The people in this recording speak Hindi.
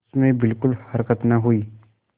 उसमें बिलकुल हरकत न हुई